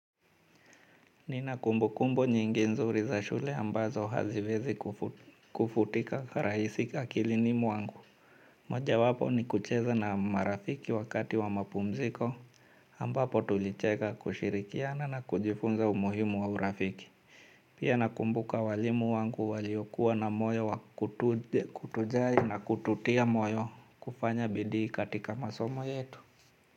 Nina kumbukumbu nyingi nzuri za shule ambazo haziwezi kufutika rahisi akilini mwangu. Mojawapo ni kucheza na marafiki wakati wa mapumziko. Ambapo tulicheka, kushirikiana na kujifunza umuhimu wa urafiki. Pia nakumbuka walimu wangu waliokuwa na moyo wa kutujali na kututia moyo kufanya bidii katika masomo yetu.